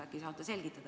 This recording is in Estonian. Äkki saate selgitada.